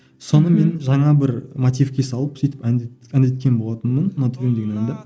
соны мен жаңа бір мотивке салып сөйтіп әндеткен болатынмын ұнатып едім деген әнді